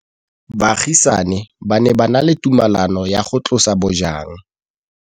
Baagisani ba ne ba na le tumalanô ya go tlosa bojang.